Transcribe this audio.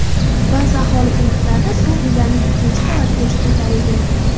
Ba’zi aholi punktlarida suv uylarning ikkinchi qavatigacha ko‘tarilgan.